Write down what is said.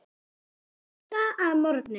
Segðu mér það að morgni.